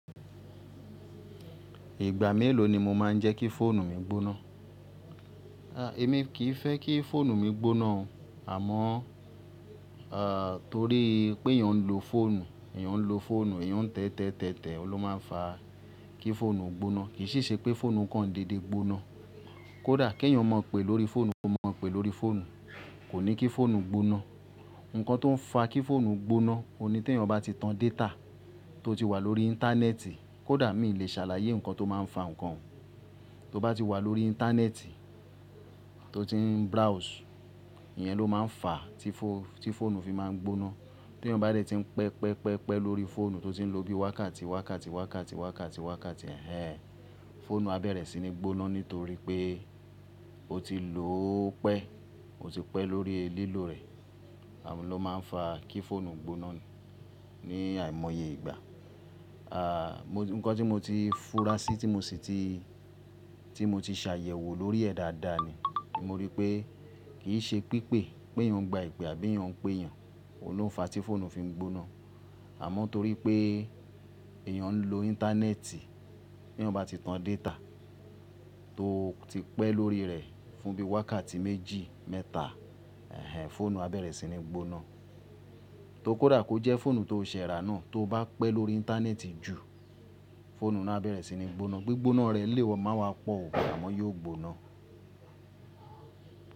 Ìgbà mélòó ni mo máa ń jẹ́ kí fóònù mi gbóná? Ẹ̀mi kì í fẹ́ kí fóònù mi gbóná, àmọ́ torí pé èèyàn ń lo fóònù, èèyàn ń lo fóònù, èèyàn ń tẹ́tẹ́tẹ́, òun ló máa ń fa kí fóònù gbóná. Kì í si ṣe pé fóònù kan dédé gbóná. Kódà kí èèyàn mọ̀ pé lórí fóònù, kó mọ̀ pé lórí fóònù, kò ní kí fóònù gbóná. Ǹkan tó ń fa kí fóònù gbóná, òní tí èèyàn bá ti tan data tó ti wà lórí íńtánẹ́ẹ̀tì, kódà mí lè ṣàlàyé ǹkan tó máa ń fa ǹkan. Tó bá ti wà lórí íńtánẹ́ẹ̀tì tó ti ń browse, ìyẹn ló máa ń fa tí fóònù fi máa ń gbóná. Tí èèyàn bá dẹ́rè ti ń pẹpẹpẹpẹ lórí fóònù tó ti ń lò bí wákàtí, wákàtí, wákàtí, wákàtí, wákàtí, ẹhẹn, fóònù á bẹ̀rẹ̀ sí ní gbóná nítorí pé ó ti lò ó pẹ́, ó ti pẹ́ lórí lílò rẹ̀. Àwo ló máa ń fa kí fóònù gbóná ní àìmọye ìgbà. Ǹkan tí mo ti fura sí tí mo ti ṣàyẹ̀wò lórí ẹ̀ dáadáa ni, mo rí i pé kì í ṣe pípè, pé èèyàn ń gba ìpè àbí èèyàn ń pé èèyàn, òun ló ń fa tí fóònù fi ń gbóná. Àmọ́ torí pé èèyàn ń lo íńtánẹ́ẹ̀tì, bí èèyàn bá ti tan data tó ti pẹ́ lórí rẹ̀ fún bí wákàtí méjì, mẹ́ta, ẹhẹn, fóònù á bẹ̀rẹ̀ sí ní gbóná. Tó kódà kó jẹ́ fóònù tó ṣẹ̀ẹ́rà náà, tó bá pẹ́ lórí íńtánẹ́ẹ̀tì jù, fóònù náà á bẹ̀rẹ̀ sí ní gbóná. Gbigbóná rẹ̀ lè máa wá pọ̀ ò, àmọ́ yóò gbóná.